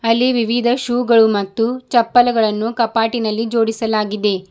ಅಲ್ಲಿ ವಿವಿಧ ಶೂ ಗಳು ಮತ್ತು ಚಪ್ಪಲಿಗಳನ್ನು ಕಪಾಟಿನಲ್ಲಿ ಜೋಡಿಸಲಾಗಿದೆ.